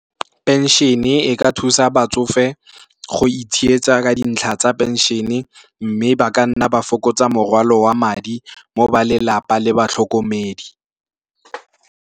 Penšhene e ka thusa batsofe go itshegetsa ka dintlha tsa penšhene, mme ba ka nna ba fokotsa morwalo wa madi mo balelapa le batlhokomedi.